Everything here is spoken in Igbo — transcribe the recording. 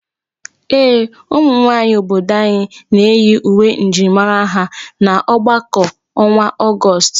Ee, ụmụ nwaanyị obodo anyị na-eyi uwe njirimara ha aga ọgbakọ ọnwa Ọgọọst.